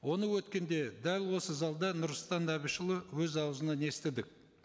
оны өткенде дәл осы залда нұрсұлтан әбішұлы өз аузынан естідік